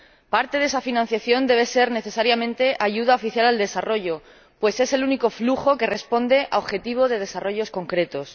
Parte de esa financiación debe ser necesariamente ayuda oficial al desarrollo, pues es el único flujo que responde a objetivos de desarrollo concretos.